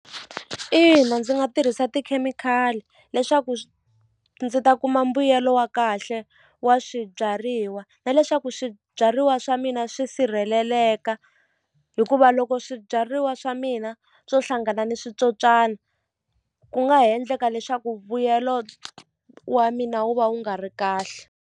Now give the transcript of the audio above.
Ina ndzi nga tirhisa tikhemikhali leswaku ndzi ta kuma mbuyelo wa kahle wa swibyariwa na leswaku swibyariwa swa mina swi sirheleleka hikuva loko swibyariwa swa mina swo hlangana ni switsotswana ku nga ha endleka leswaku vuyelo wa mina wu va wu nga ri kahle.